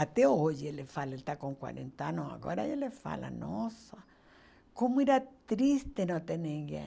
Até hoje ele fala, ele está com quarenta anos, agora ele fala, nossa, como era triste não ter ninguém.